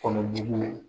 Kɔnɔ jugu ye